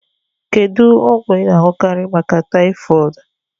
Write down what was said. Kedu ogwu I n'añukari maka typhoid?